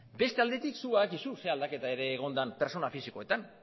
beste aldetik zuk badakizu zein aldaketa ere egon den pertsona fisikoetan